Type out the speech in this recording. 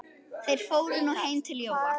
Þeir fóru nú heim til Jóa.